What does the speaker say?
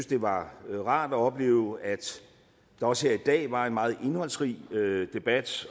det var rart at opleve at der også her i dag var en meget indholdsrig debat